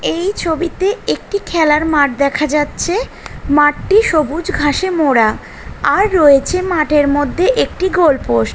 এই ছবিতে একটি খেলার মাঠ দেখা যাচ্ছে। মাঠটি সবুজ ঘাসে মোড়া। আর রয়েছে মাঠের মধ্যে একটি গোল পোস্ট ।